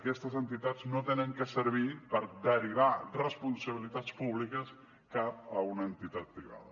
aquestes entitats no han de servir per derivar responsabilitats públiques cap a una entitat privada